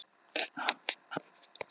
Hverjir verða Íslandsmeistarar í sumar?